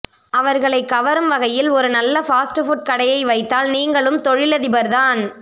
அவர்களைக் கவரும் வகையில் ஒரு நல்ல ஃபாஸ்ட் புட் கடையை வைத்தால் நீங்களும் தொழிலதிபர்தான்